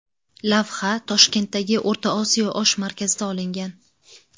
Lavha Toshkentdagi O‘rta Osiyo osh markazida olingan.